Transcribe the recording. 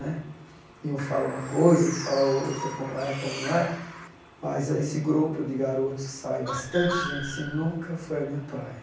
Né e um fala uma coisa, tu fala outra, como é, como não é. Mas esse grupo de garotos que saem, bastante gente assim, nunca foi a minha praia.